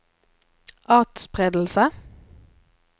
atspredelse